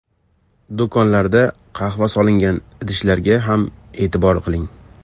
Do‘konlarda qahva solingan idishlarga ham e’tibor qiling.